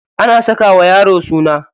Ana saka wa yaro suna.